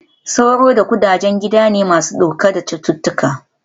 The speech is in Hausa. Sauro da ƙudaje gida ne masu ɗauke da cututtuka